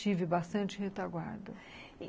Tive bastante retaguarda.